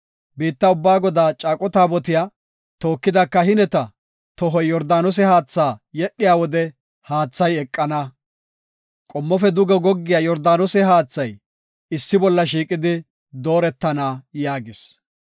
Biitta ubba Godaa caaqo taabotiya tookida kahineta tohoy Yordaanose haatha yedhiya wode haathay eqana. Qommofe duge goggiya Yordaanose haathay issi bolla shiiqidi dooretana” yaagis.